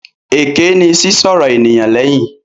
Èké ni sísọ̀rọ̀ ènìyàn léyìn.